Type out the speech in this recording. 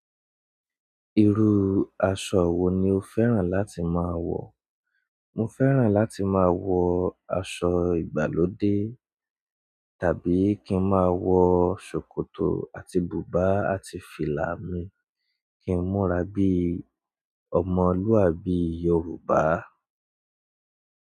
Irú aṣọ wo ni o fẹ́ràn láti máa wọ̀? Mo fẹ́ràn láti máa wọ aṣọ ìgbàlódé tàbí kí n máa wọ ṣòkòtò àti bùbá àti fìlà mi kí n múra bí ọmọlúàbí Yorùbá.